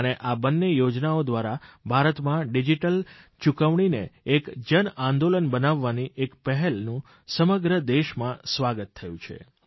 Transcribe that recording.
અને આ બંને યોજનાઓ દ્વારા ભારતમાં ડીજીટલ ચૂકવણીને એક જનઆંદોલન બનાવવાની પહેલનું સમગ્ર દેશમાં સ્વાગત થયું છે